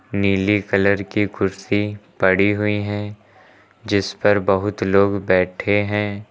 नीली कलर की कुर्सी पड़ी हुई हैं जिस पर बहुत लोग बैठे हैं।